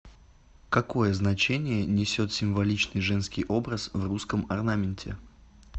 какое значение несет символичный женский образ в русском орнаменте